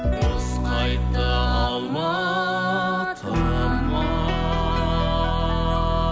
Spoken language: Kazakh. құс қайтты алматыма